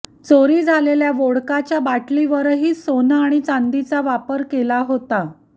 चोरी झालेल्या वोडकाच्या बाटलीवर ही सोनं आणि चांदीचा वापर केला होता